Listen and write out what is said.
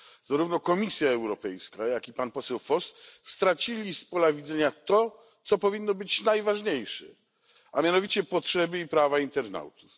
Zarówno Komisja Europejska, jak i pan poseł Voss stracili z pola widzenia to, co powinno być najważniejsze, a mianowicie potrzeby i prawa internautów.